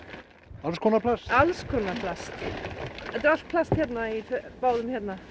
alls konar plast alls konar plast þetta er allt plast hérna í báðum